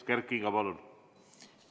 Kert Kingo, palun!